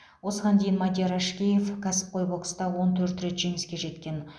осыған дейін мадияр әшкеев кәсіпқой бокста он төрт рет жеңіске жеткен